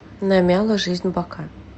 намяла жизнь бока